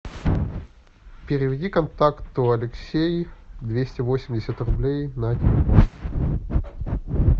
переведи контакту алексей двести восемьдесят рублей на телефон